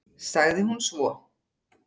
sagði hún svo.